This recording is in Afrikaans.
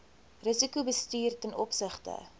risikobestuur ten opsigte